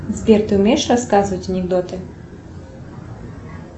сбер ты умеешь рассказывать анекдоты